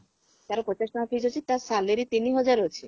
ତାର ପଚାଶ ଟଙ୍କା fees ତାର salary ତିନି ହଜାର ଅଛି